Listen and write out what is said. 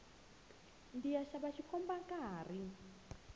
ndziya xava xikomba nkarhi